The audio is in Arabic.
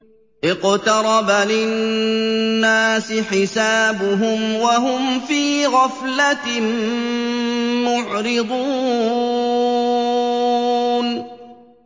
اقْتَرَبَ لِلنَّاسِ حِسَابُهُمْ وَهُمْ فِي غَفْلَةٍ مُّعْرِضُونَ